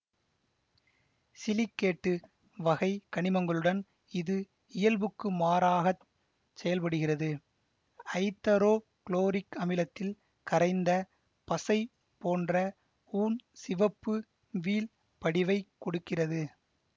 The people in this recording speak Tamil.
சிலிக்கேட்டு வகை கனிமங்களுடன் இது இயல்புக்கு மாறாகச் செயல்படுகிறது ஐதரோ குளோரிக் அமிலத்தில் கரைந்த பசை போன்ற ஊன் சிவப்பு வீழ்படிவைக் கொடுக்கிறது